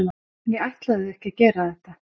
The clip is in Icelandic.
ég ætlaði ekki að gera þetta